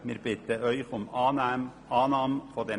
Wir bitten Sie, die Abänderungsanträge anzunehmen.